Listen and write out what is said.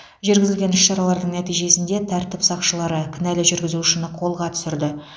жүргізілген іс шаралардың нәтижесінде тәртіп сақшылары кінәлі жүргізушіні қолға түсірді